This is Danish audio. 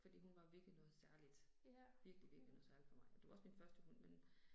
Fordi hun var virkelig noget særligt. Virkelig virkelig noget særligt for mig. Og det var også min første hund, men